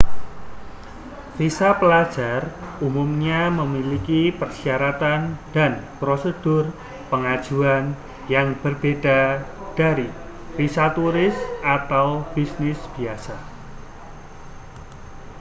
visa pelajar umumnya memiliki persyaratan dan prosedur pengajuan yang berbeda dari visa turis atau bisnis biasa